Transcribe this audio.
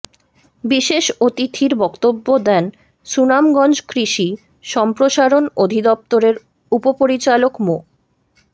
বিশেষ অতিথির বক্তব্য দেন সুনামগঞ্জ কৃষি সম্প্রসারণ অধিদপ্তরের উপপরিচালক মো